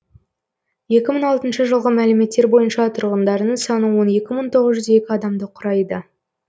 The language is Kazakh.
екі мың алтыншы жылғы мәліметтер бойынша тұрғындарының саны он екі мың тоғыз жүз екі адамды құрайды